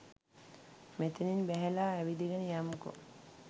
මෙතනින් බැහැල ඇවිදගෙන යමුකෝ.